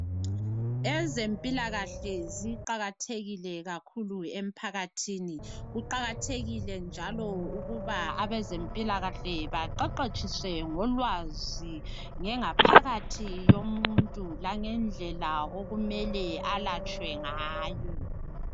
Ezempilakahle ziqakathekile kakhulu emphakathini kuqakathekile njalo ukuba abezempilakahle baqeqetshiswe ngolwazi ngengaphakathi yomuntu langendlela okumele alatshwe ngayo.